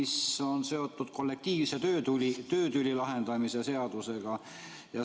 See on seotud kollektiivse töötüli lahendamise seadusega.